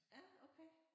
Ja okay